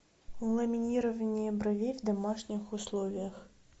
ламинирование бровей в домашних условиях